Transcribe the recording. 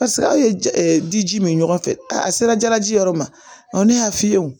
Paseke a ye di ji min ɲɔgɔn fɛ a sera jalaji yɔrɔ ma ne y'a f'i ye o